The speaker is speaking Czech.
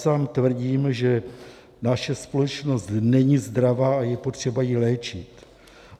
Sám tvrdím, že naše společnost není zdravá a je potřeba ji léčit.